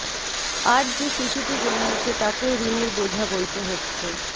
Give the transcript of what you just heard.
আজ যে শিশুটি জন্মেছে তাকেও ঋণের বোঝা বইতে হচ্ছে